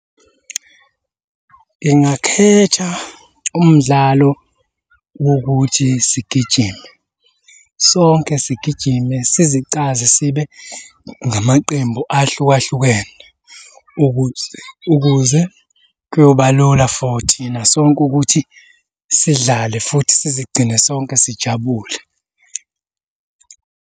Ngingakhetha umdlalo wokuthi sigijime, sonke sigijime sizicaze sibe ngamaqembu ahlukahlukene ukuze ukuze kuyoba lula for thina sonke ukuthi sidlale futhi sizigcine sonke sijabule.